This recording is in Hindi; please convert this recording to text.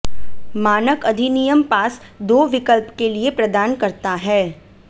मानक अधिनियम पास दो विकल्प के लिए प्रदान करता है